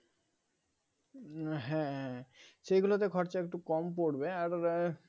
হ্যাঁ সেগুলোতে খরচা একটু কম পড়বে আর আহ